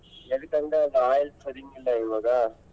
ಎದಕ್ಕಂದ್ರ ಅದು oil ಸರೀಗಿಲ್ಲ ಇವಾಗ.